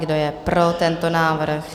Kdo je pro tento návrh?